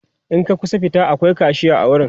in ka kusa fita akwai kashiya a wurin